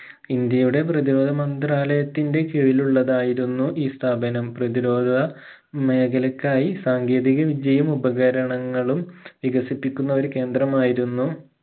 ഇന്ത്യയുടെ പ്രതിരോധ മന്ദ്രാലയത്തിന്റെ കീഴിലുള്ളതായിരുന്നു ഈ സ്ഥാപനം പ്രധിരോധ മേഖലക്കായി സാങ്കേതിക വിദ്യയും ഉപകരണങ്ങളും വികസിപ്പിക്കുന്ന ഒരു കേന്ദ്രമായിരുന്നു